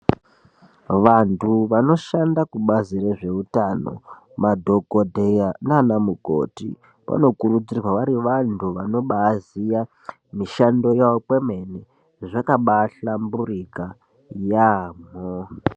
Vandhu vanoshanda kubazi rezveutano, madhokodheya naana mukoti vanokurudzirwa vari vandhu vanobaaziya mishando yavo kwemene zvakabaahlamburika yaamho.